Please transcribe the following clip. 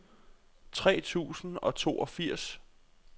tre tusind og toogfirs